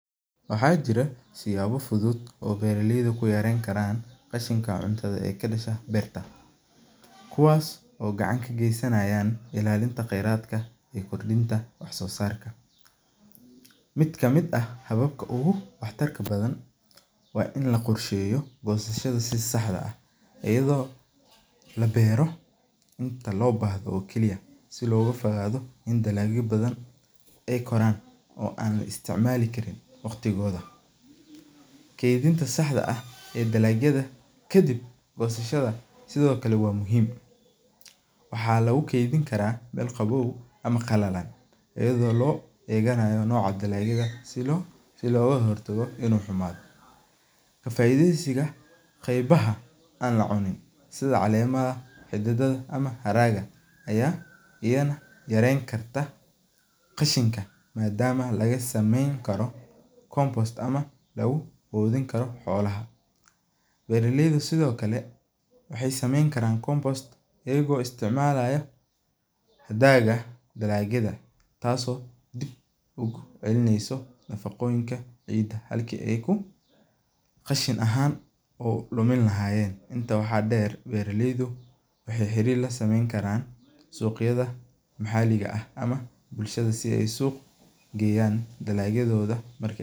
Waxaa jira siyawa fuduud oo bera leydu kuyareyni karan rashinka cuntadha ee ka disan beerta kuwas oo gacan ka gestan ilalinta wax sosarka miid kamiid ah hababka wax tarka badan waa in la qorsheyo gosashaada si saxda ah iyadha oo labero inta lo bahdo oo kali ah si loga fogaado dalagyo oo ee Koran laisticmali karin kedhinta saxda ah kadiib gosashaada sithokale waa muhiim waxaa lagu kedhin karaa dul qawow ama qalalan iyadha oo lo eganayo dalagyaada sitha loga hortago, kafaideysiga qebaha an la cunin sitha calenta ama darenkata qashinka madama laga sameyni karo compost dow oo lagu qudhin karo xolaha, beera leyda sithokale waxee sameyni karan compost iyaga oo isticmalaya hadaga dalagyaadu tas oo ku celineysa nafaqoyinka ciida halka ee ahan ee dumin lahayen beera leydu waxee xarir lasameyni karan maxaliga ama bulshaada geyan dalagyadoda.